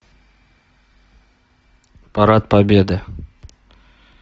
парад победы